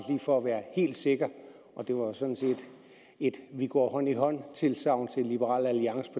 for at være helt sikker og det var sådan set et vi går hånd i hånd tilsagn til liberal alliance